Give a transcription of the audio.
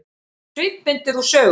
Svipmyndir úr sögunni